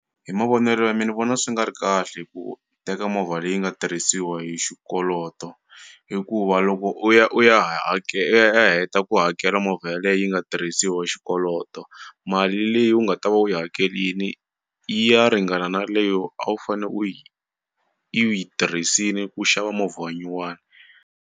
Hi mavonelo ya me ni vona swi nga ri kahle ku teka movha leyi nga tirhisiwa hi xikoloto hikuva loko u ya u ya i ya i ya heta ku hakela movha yeleyo yi nga risiwa xikoloto mali leyi u nga ta va u yi hakelini yi ya ringana na leyo a wu fane u yi tirhisini ku xava movha wa nyuwani.